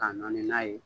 Ka nɔɔni n'a ye